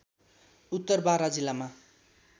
उत्तर बारा जिल्लामा